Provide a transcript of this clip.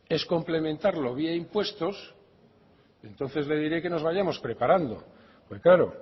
es complementarlo vía impuestos entonces le diré que nos vayamos preparando porque claro